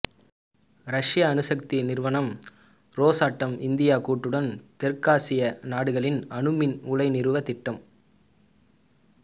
ரஷ்ய அணுசக்தி நிறுவனம் ரொசாட்டம் இந்தியா கூட்டுடன் தெற்காசிய நாடுகளில் அணுமின் உலை நிறுவ திட்டம்